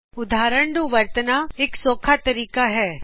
ਉਦਹਾਰਨ ਨੂੰ ਵਰਤਣਾ ਇਕ ਸੌਖਾ ਤਰੀਕਾ ਹੈ